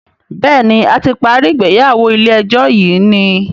béèni a ti parí ìgbéyàwó ilé ejó yi ní.